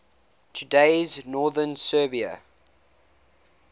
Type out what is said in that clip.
today's northern serbia